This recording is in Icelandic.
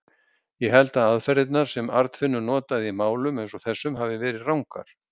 Ég held að aðferðirnar, sem Arnfinnur notaði í málum eins og þessum, hafi verið rangar.